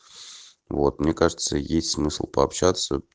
вот мне кажется есть смысл пообщаться